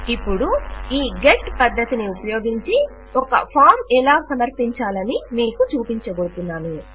ఇపుడు ఈ గెట్ పద్ధతిని ఉపయోగించి ఒక ఫారం ఎలా సమర్పించాలని మీకు చూపించబోతున్నాను